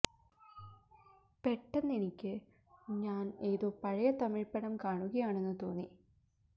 പെട്ടെന്ന് എനിക്ക് ഞാന് ഏതോ പഴയ തമിഴ് പടം കാണുകയാണെന്നു തോന്നി